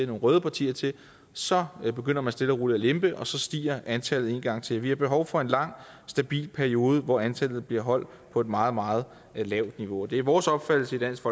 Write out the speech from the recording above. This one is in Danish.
nogle røde partier til så begynder man stille og roligt at lempe og så stiger antallet en gang til vi har behov for en lang stabil periode hvor antallet bliver holdt på et meget meget lavt niveau og det er vores opfattelse i dansk